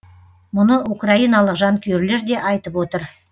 мұны украиналық жанкүйерлер де айтып отыр